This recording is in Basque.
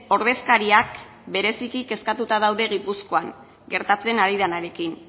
ordezkariak bereziki kezkatuta daude gipuzkoan gertatzen ari denarekin